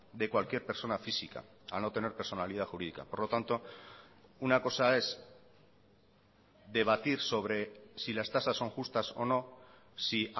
de cualquier persona física al no tener personalidad jurídica por lo tanto una cosa es debatir sobre si las tasas son justas o no si